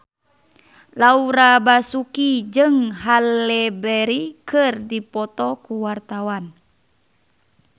Laura Basuki jeung Halle Berry keur dipoto ku wartawan